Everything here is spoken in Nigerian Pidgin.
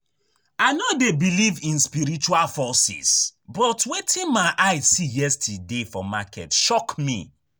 I no dey believe in spiritual forces but wetin my eye see yesterday for market shock me